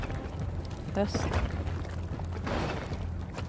hösten